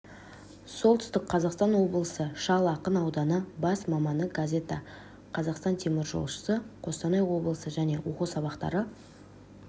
солтүстің қазақстан облысы шал ақын ауданы бас маманы газета қазақстан теміржолшысы қостанай облысы және оқу сабақтары